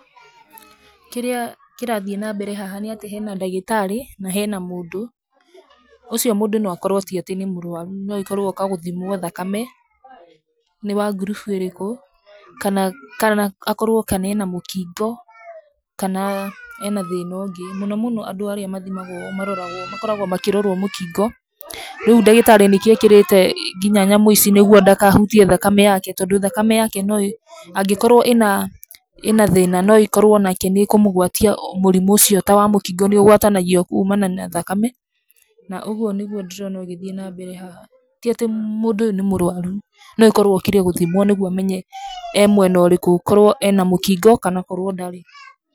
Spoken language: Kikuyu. Kĩrĩa kĩrathiĩ na mbere haha nĩ atĩ hena ndagĩtarĩ na hena mũndũ. ũcio mũndũ no akorwo ti atĩ nĩ mũrwaru no ĩkorwo oka gũthimwo thakame nĩ wa ngurubu ĩrĩkũ kana akorwo ena mũkingo kana ena thĩna ũngĩ. Mũno mũno andũ arĩa mathimagwo makoragwo makĩrorwo mũkingo rĩu ndagĩtarĩ nĩkĩo ekĩrĩte ngina nyamũ ici nĩguo ndakahutie thakame yake, tondũ thakame yake no ĩ, angĩkorwo ĩna thĩna no ĩkorwo onake nĩ ĩkũmũgwatia mũrimũ ũcio. Ta wa mũkingo nĩ ũgwatanagio kumana na thakame na ũguo nĩguo ndĩrona ũgĩthiĩ na mbere haha. Tiatĩ mũndũ ũyũ nĩ mũrwaru no akorwo okire gũthimwo nĩguo amenye e mwena ũrĩkũ korwo ena mũkingo kana korwo ndarĩ.